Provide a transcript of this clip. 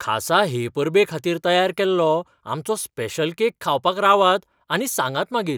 खासा हे परबे खातीर तयार केल्लो आमचो स्पेशल केक खावपाक रावात आनी सांगात मागीर.